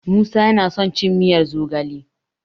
Musa yana son cin miyar zogale.